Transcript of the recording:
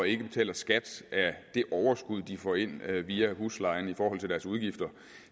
ikke betaler skat af det overskud de får ind via huslejen i forhold til deres udgifter